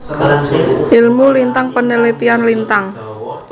Ilmu Lintang penelitian Lintang